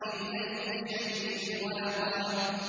مِنْ أَيِّ شَيْءٍ خَلَقَهُ